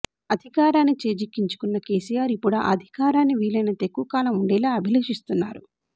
అధికారాన్ని చేజిక్కించుకున్న కేసీఆర్ ఇప్పుడా అధికారాన్ని వీలైనంత ఎక్కువ కాలం ఉండేలా అభిలషిస్తున్నారు